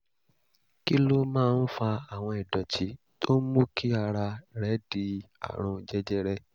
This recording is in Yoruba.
kí ló máa ń fa àwọn ìdọ̀tí tó ń mú kí ara rẹ̀ di àrùn jẹjẹrẹ?